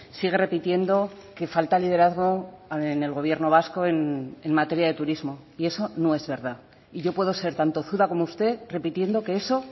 sigue repitiendo que falta liderazgo en el gobierno vasco en materia de turismo y eso no es verdad y yo puedo ser tan tozuda como usted repitiendo que eso